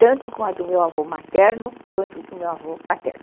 tanto com a do meu avô materno quanto com a do meu avô paterno.